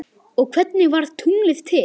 og Hvernig varð tunglið til?